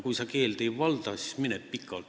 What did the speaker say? Kui sa keelt ei valda, siis mine pikalt!